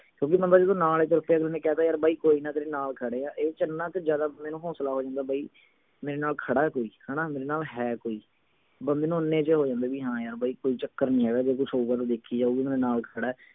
ਕਿਓਂਕਿ ਬੰਦਾ ਜਦੋਂ ਨਾਲ ਹੀ ਤੁਰ ਪਿਆ ਅਗਲੇ ਨੇ ਕਹਿ ਤਾ ਯਾਰ ਬਾਈ ਕੋਈ ਨਾ ਤੇਰੇ ਨਾਲ ਖੜੇ ਹਾਂ ਇਹ ਚ ਇੰਨਾ ਕੇ ਜਿਆਦਾ ਹੋਂਸਲਾ ਹੋ ਜਾਂਦਾ ਬਈ ਮੇਰੇ ਨਾਲ ਖੜੇ ਕੋਈ ਹਣਾ ਮੇਰੇ ਨਾਲ ਹੈ ਕੋਈ ਬੰਦੇ ਨੂੰ ਇੰਨੇ ਚ ਹੋ ਜਾਂਦੇ ਵੀ ਹਾਂ ਯਾਰ ਬਈ ਕੋਈ ਚੱਕਰ ਨਹੀਂ ਹੈਗਾ ਜੇ ਕੁਝ ਹੋ ਗਿਆ ਤਾਂ ਦੇਖੀ ਜਾਊਗੀ ਮੇਰੇ ਨਾਲ ਖੜੇ